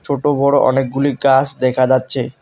ছোট বড় অনেকগুলি গাস দেখা যাচ্ছে।